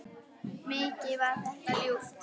Mikið var það ljúft.